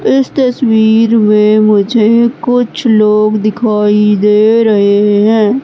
इस तस्वीर में मुझे कुछ लोग दिखाई दे रहे हैं।